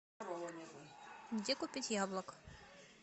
где купить яблок